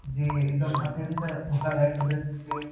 जे एकदम अत्यंत धोकादायक पद्धती चे